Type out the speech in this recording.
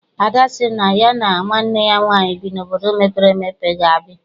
Ada sị na ya na nwanne ya nwaanyị bi n'obodo mepere emepe ga ebi.